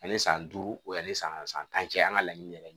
Ani san duuru o yan ni san tan cɛ an ka laɲini yɛrɛ ye